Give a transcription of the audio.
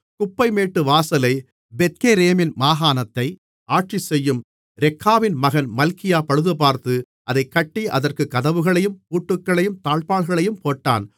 குப்பைமேட்டுவாசலைப் பெத்கேரேமின் மாகாணத்தை ஆட்சி செய்யும் ரெக்காவின் மகன் மல்கியா பழுதுபார்த்து அதைக் கட்டி அதற்குக் கதவுகளையும் பூட்டுகளையும் தாழ்ப்பாள்களையும் போட்டான்